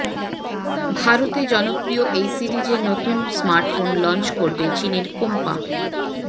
ভারতে জনপ্রিয় এই সিরিজে নতুন স্মার্টফোন লঞ্চ করবে চিনের কোম্পা